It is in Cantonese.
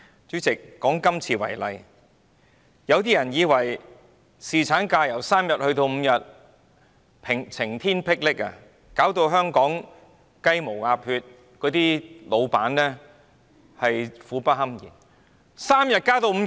主席，以今次為例，有些人對於侍產假日數由3天增至5天，感到晴天霹靂，認為這會令香港"雞毛鴨血"，老闆苦不堪言。